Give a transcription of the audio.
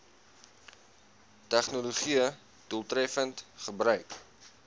tegnologië doeltreffend gebruik